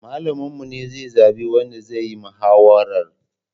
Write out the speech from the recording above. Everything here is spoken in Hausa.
Malamin mu ne zai zaɓi wanda zayi mahawarar